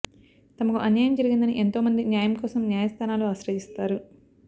తమకు అన్యాయం జరిగిందని ఎంతో మంది న్యాయం కోసం న్యాయస్థానాలు ఆశ్రయిస్తారు